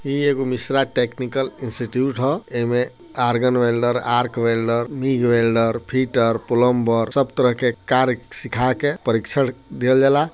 ई एगो Mishra technical institute ह। एमे आर्गन वेल्डर आर्क वेल्डर बिग वेल्डर फिटर पलम्बर सब तरह के कार्य सीखा के परीक्षण दिहल जाला।